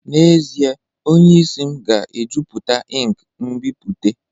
N'ezie, onye isi m ga-ejupụta ink nbipute